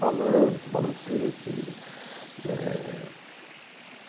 Balanço, balancete eh...